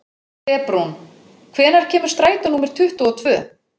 Febrún, hvenær kemur strætó númer tuttugu og tvö?